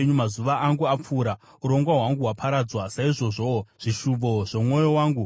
Mazuva angu apfuura, urongwa hwangu hwaparadzwa, saizvozvowo zvishuvo zvomwoyo wangu.